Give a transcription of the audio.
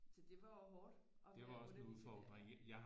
Så det var jo hårdt at være underviser der